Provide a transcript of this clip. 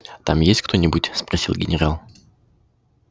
там есть кто-нибудь спросил генерал